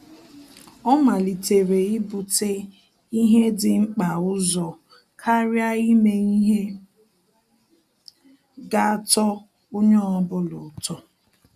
Ọ́ màlị́tèrè íbùtè ihe dị̀ mkpa ụzọ kàrị́a ímé ihe gà-àtọ́ onye ọ bụla ụ́tọ́.